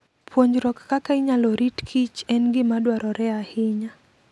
Puonjruok kaka inyalo rit kich en gima dwarore ahinya.